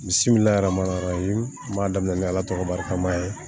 Misi min larama yɔrɔ ye n b'a daminɛ ni ala tɔgɔ barikama ye